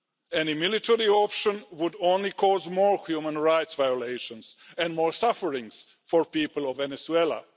Any military option would only cause more human rights violations and more suffering for the people of Venezuela.